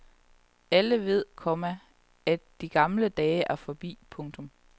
Alle ved, komma at de gamle dage er forbi. punktum